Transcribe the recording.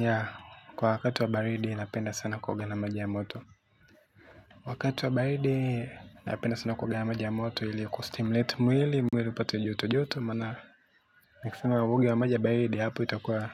Ya, kwa wakati wa baridi ninapenda sana kuoga na maji ya moto. Wakati wa baridi napenda sana kuoga na maji ya moto ili kustimulate mwili, mwili pata joto joto. Mana, nikisema nioge na maji ya baridi hapo itakuwa.